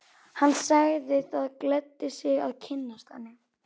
Hann sagði það gleddi sig að kynnast henni.